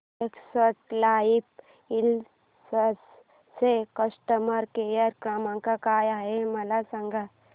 Exide life insurance चा customer care क्रमांक काय आहे मला सांगा